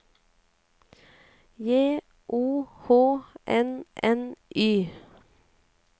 J O H N N Y